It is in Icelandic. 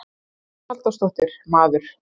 Hugrún Halldórsdóttir: Maður?